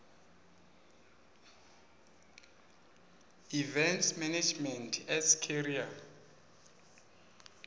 events management as a career